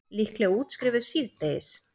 Líklega útskrifuð síðdegis